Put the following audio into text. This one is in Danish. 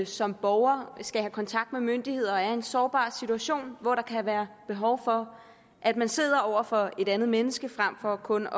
som borger skal have kontakt med myndigheder og er i en sårbar situation hvor der kan være behov for at man sidder over for et andet menneske frem for kun